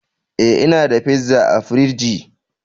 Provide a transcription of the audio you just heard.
eh, ina da pizza a fridgi